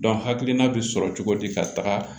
hakilina bɛ sɔrɔ cogo di ka taga